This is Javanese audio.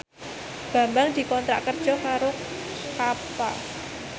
Bambang dikontrak kerja karo Kappa